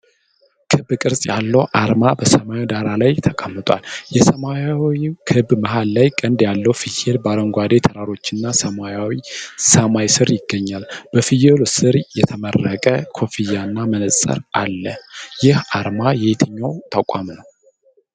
ክብ ቅርጽ ያለው አርማ በሰማያዊ ዳራ ላይ ተቀምጧል። የሰማያዊው ክብ መሃል ላይ ቀንድ ያለው ፍየል በአረንጓዴ ተራሮችና በሰማያዊ ሰማይ ስር ይገኛል። በፍየሉ ስር የተመረቀ ኮፍያና መጽሐፍ አለ። ይህ አርማ የየትኛው ተቋም ነው?